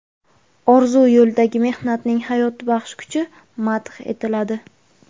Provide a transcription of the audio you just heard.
orzu yo‘lidagi mehnatning hayotbaxsh kuchi madh etiladi.